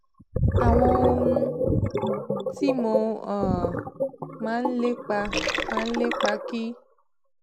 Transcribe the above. àwọn ohun tí mo um máa ń lépa máa ń lépa kì